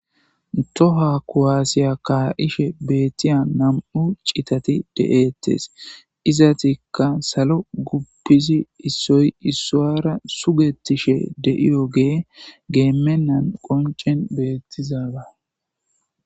Toha kowaasiya kaa'ishe beettiya nam'u citati de'eettes izatikka salo guppizi issoy issoara sugetishe deiyogee geemennan qoncen beettizaba